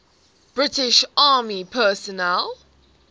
british army personnel